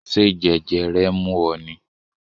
Ṣé jẹjẹrẹ ń mú ọ ni?